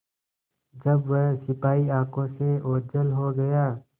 जब वह सिपाही आँखों से ओझल हो गया